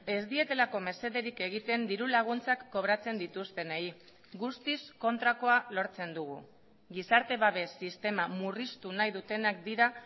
ez dietelako mesederik egiten dirulaguntzak kobratzen dituztenei guztiz kontrakoa lortzen dugu gizarte babes sistema murriztu nahi dutenak dira